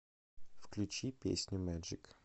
включи песню мэджик